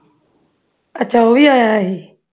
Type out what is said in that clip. ਅੱਛਾ ਉਹ ਵੀ ਆਇਆ ਸੀ